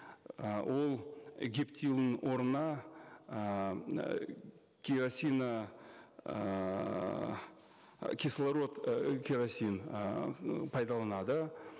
ы ол гептилдың орнына ыыы керосин ыыы кислород ы керосин ыыы пайдаланады